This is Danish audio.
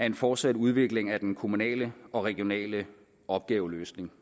en fortsat udvikling af den kommunale og regionale opgaveløsning